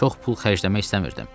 Çox pul xərcləmək istəmirdim.